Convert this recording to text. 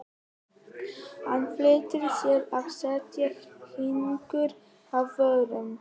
Hann flýtti sér að setja fingur að vörum.